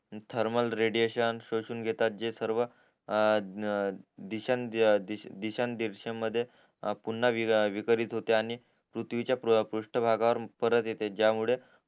thermal radiation शोषून घेता जे सर्व मध्ये पुन्हा विकरीत होते आणि पृथ्वीच्या पृष्ठ भागावर परत येते ज्यामुळे